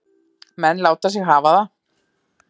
Menn láta sig hafa það.